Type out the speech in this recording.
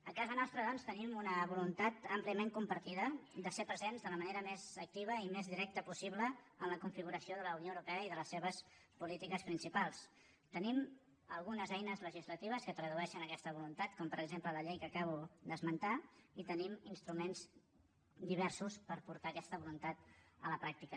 a casa nostra doncs tenim una voluntat àmpliament compartida de ser presents de la manera més activa i més directa possible en la configuració de la unió europea i de les seves polítiques principals tenim algunes eines legislatives que tradueixen aquesta voluntat com per exemple la llei que acabo d’esmentar i tenim instruments diversos per portar aquesta voluntat a la pràctica